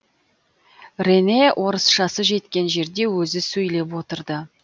рене орысшасы жеткен жерде өзі сөйлеп отырды